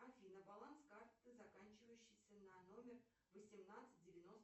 афина баланс карты заканчивающейся на номер восемнадцать девяносто